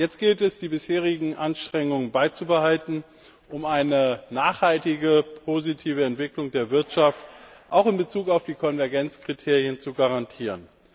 Jetzt gilt es, die bisherigen Anstrengungen beizubehalten, um eine nachhaltige positive Entwicklung der Wirtschaft, auch in Bezug auf die Konvergenzkriterien, zu garantieren.